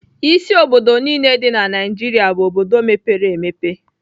Isi obodo niile dị na Naịjirịa bụ obodo mepere emepe.